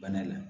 Bana la